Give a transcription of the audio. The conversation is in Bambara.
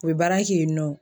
U bɛ baara kɛ yen nɔ.